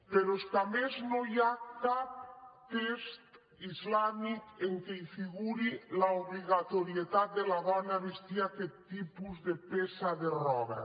però és que a més no hi ha cap text islàmic en què figuri l’obligatorietat de la dona a vestir aquest tipus de peça de roba